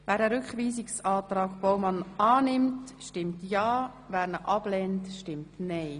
Wer den Rückweisungsantrag Baumann annimmt, stimmt ja, wer ihn ablehnt, stimmt nein.